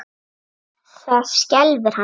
Það skelfir hann.